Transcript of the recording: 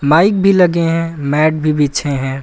Mic भी लगे हैं। मैट भी बिछे हैं।